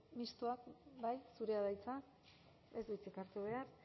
mistoak bai zurea da hitza ez du hitzik hartu behar